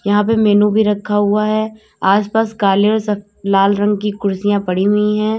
यहां पे मेनू भी रखा हुआ है आसपास काले लाल रंग की कुर्सियां पड़ी हुई है।